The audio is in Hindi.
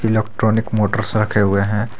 इलेक्ट्रॉनिक मोटर रखे हुए हैं।